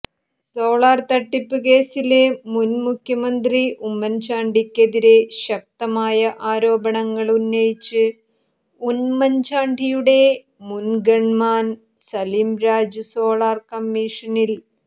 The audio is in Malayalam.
സോളാര് തട്ടിപ്പ് കേസില് മുന് മുഖ്യമന്ത്രി ഉമ്മന്ചാണ്ടിക്കെതിരെ ശക്തമായ ആരോപണങ്ങള് ഉന്നയിച്ച് ഉമ്മൻചാണ്ടിയുടെ മുൻഗൺമാൻ സലിംരാജ് സോളർ കമ്മിഷനിൽ